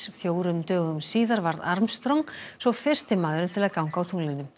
fjórum dögum síðar varð Armstrong svo fyrsti maðurinn til að ganga á tunglinu